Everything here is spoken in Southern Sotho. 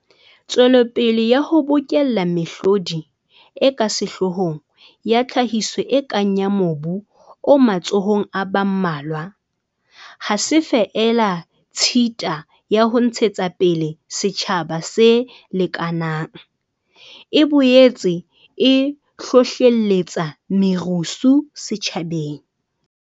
Tswelopele ya ho bokella mehlodi e ka sehloohong ya tlhahiso e kang ya mobu o matsohong a ba mmalwa ha se feela tshita ya ho ntshetsa pele setjhaba se lekanang, e boetse e hlohlelletsa merusu setjhabeng.